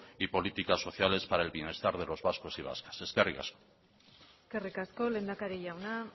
y política sociales para el bienestar de los vascos y vascas eskerrik asko eskerrik asko lehendakari jauna